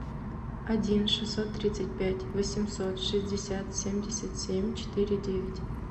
один шестьсот тридцать пять восемьсот шестьдесят семьдесят семь четыре девять